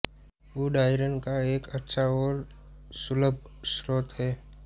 गुड़ आयरन का एक अच्छा और सुलभ स्रोत है